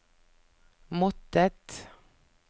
måttet